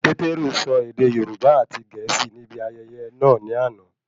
Pétérù sọ ède Yorùbá àti Gẹ̀ẹ́sì ní ibi ayẹyẹ náà ní àna